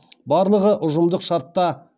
барлығы ұжымдық шартта